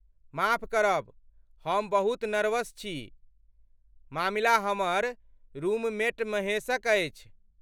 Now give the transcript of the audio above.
माफ करब, हम बहुत नर्वस छी। मामिला हमर रूममेट महेशक अछि।